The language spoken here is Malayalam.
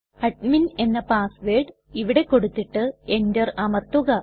അഡ്മിൻ എന്ന പാസ് വേർഡ് ഇവിടെ കൊടുത്തിട്ട് എന്റർ അമർത്തുക